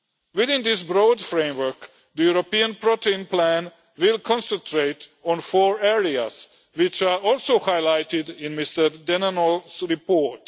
Within this broad framework, the European protein plan will concentrate on four areas which are also highlighted in Mr Denanot's report.